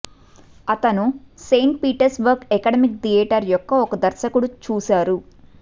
అతను Saint Petersburg academic theatre యొక్క ఒక దర్శకుడు చూసారు